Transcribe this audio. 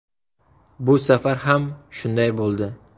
Bu safar ham shunday bo‘ldi.